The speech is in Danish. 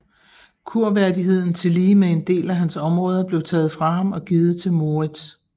Kurværdigheden tillige med en del af hans områder blev taget fra ham og givet til Moritz